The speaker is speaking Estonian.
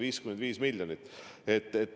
55 miljonit!